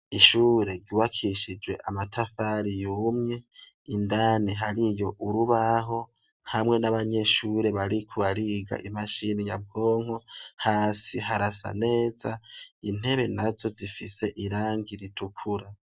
Ishure yubakishije amatafari yumye, indani hariyo urubaho, hamwe n'abanyeshure bariko bariga imashini nyabwonko, hasi harasa neza, intebe nazo zifise irangi ritukura.